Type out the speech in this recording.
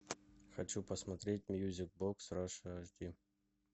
хочу посмотреть мьюзик бокс раша аш ди